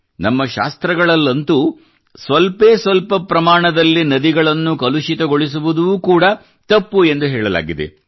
ನಮ್ಮ ಶಾಸ್ತ್ರಗಳಲ್ಲಂತೂ ಅಲ್ಪ ಪ್ರಮಾಣದಲ್ಲಿ ನದಿಗಳನ್ನು ಕಲುಷಿತಗೊಳಿಸುವುದೂ ಕೂಡ ತಪ್ಪು ಎಂದು ಹೇಳಲಾಗಿದೆ